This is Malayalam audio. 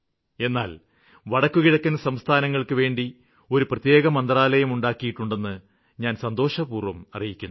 എന്നാല് വടക്കുകിഴക്കന് സംസ്ഥാനങ്ങള്ക്കുവേണ്ടി ഒരു പ്രത്യേക മന്ത്രാലയം ഉണ്ടാക്കിയിട്ടുണ്ടെന്ന് ഞാന് സന്തോഷപൂര്വ്വം അറിയിക്കുന്നു